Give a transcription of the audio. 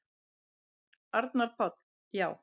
Arnar Páll: Já.